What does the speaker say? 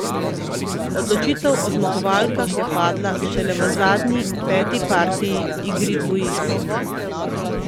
Odločitev o zmagovalkah je padla šele v zadnji, peti partiji, igri dvojic.